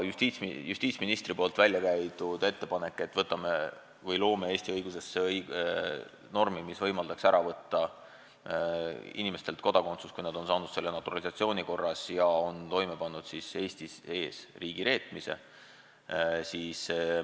Justiitsminister on välja käinud ettepaneku, et loome Eesti õiguses normi, mis võimaldaks inimestelt kodakondsuse ära võtta, kui nad on saanud selle naturalisatsiooni korras ja on toime pannud Eestis riigi reetmise.